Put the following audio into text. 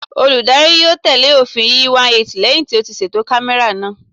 Olùdarí yóò tẹ̀lé òfin yíÌyí 180 lẹ́hìn tí ó ti ṣètò kámẹ́rà náà.